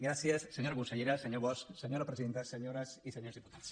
gràcies senyora consellera senyor bosch senyora presidenta senyores i senyors diputats